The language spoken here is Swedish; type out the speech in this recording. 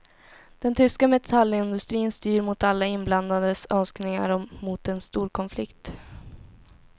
Den tyska metallindustrin styr mot alla inblandades önskningar mot en storkonflikt.